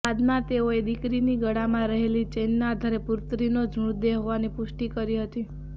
બાદમાં તેઓએ દીકરીની ગળામાં રહેલી ચેઇનના આધારે પુત્રીનો જ મૃતદેહ હોવાની પુષ્ટિ કરી હતી